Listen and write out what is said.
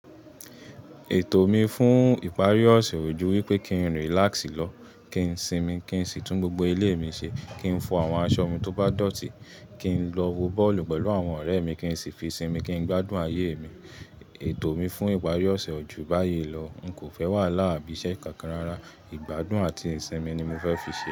Ètò mi fún ìparí ọ̀sẹ̀ ojú wípé kín relax lọ́, kín sinmi, kín sì tún gbogbo ilé mi ṣe, kín fọ àwọn aṣọ mi tó bá dọ̀tí, kín lọ wo bọ́ọ̀lù pẹ̀lú àwọn ọ̀rẹ́ mi, kín sì fi sinmi, kín gbádùn ayé mi. Ètò mi fún ìparí ọ̀sẹ̀ ojú báyìí lọ, n kò fẹ́ wàhala abi iṣẹ́ kánkan rara, ìgbádùn àti ìsinmi ni mo fẹ́ fi ṣe é.